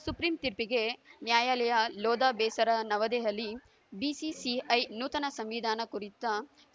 supreme ತೀರ್ಪಿಗೆ ನ್ಯಾಯಲಯ ಲೋಧಾ ಬೇಸರ ನವದೆಹಲಿ BCCI ನೂತನ ಸಂವಿಧಾನ ಕುರಿತ